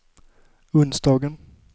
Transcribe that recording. onsdagen